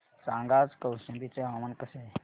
सांगा आज कौशंबी चे हवामान कसे आहे